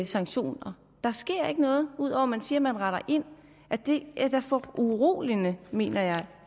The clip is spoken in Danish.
sanktioner der sker ikke noget ud over at man siger man retter ind det er da foruroligende mener jeg